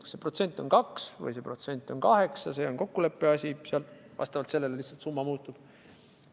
Kas see protsent on kaks või see protsent on kaheksa, see on kokkuleppe asi, sellele vastavalt lihtsalt summa muutub.